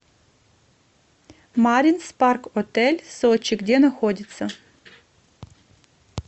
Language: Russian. маринс парк отель сочи где находится